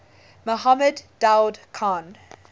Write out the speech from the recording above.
mohammed daoud khan